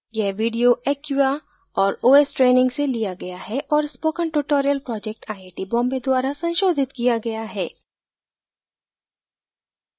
यह video acquia और os training से लिया गया है और spoken tutorial project IIT Bombay द्वारा संशोधित किया गया है